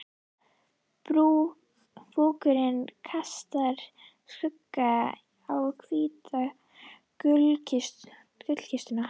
Búkurinn kastar skugga á hvíta gluggakistuna.